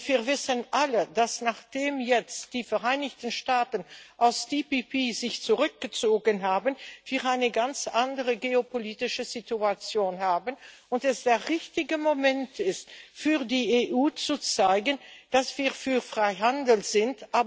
Wir wissen alle, dass wir, nachdem sich jetzt die Vereinigten Staaten aus TTIP zurückgezogen haben, ir eine ganz andere geopolitische Situation haben und es der richtige Moment, für die EU ist zu zeigen, dass wir für Freihandel sind.